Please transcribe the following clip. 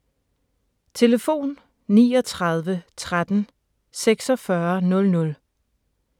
Telefon: 39 13 46 00